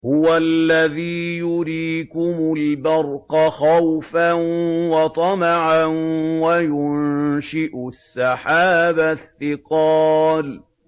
هُوَ الَّذِي يُرِيكُمُ الْبَرْقَ خَوْفًا وَطَمَعًا وَيُنشِئُ السَّحَابَ الثِّقَالَ